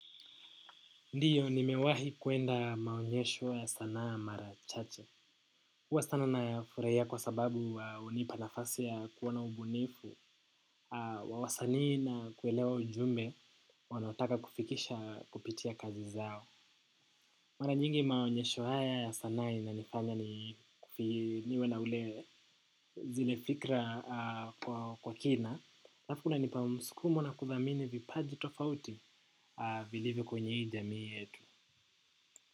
Ndiyo nimewahi kwenda maonyesho ya sanaa mara chache. Huwa sana nayafurahia kwa sababu hunipa nafasi ya kuona ubunifu, wa wasanii na kuelewa ujumbe, wanaotaka kufikisha kupitia kazi zao. Mara nyingi maonyesho haya ya sanaa yananifanya niwe na zile fikra kwa kina. Alafu kunanipa msukumo na kuthamini vipaji tofauti vilivyo kwenye hii jamii yetu.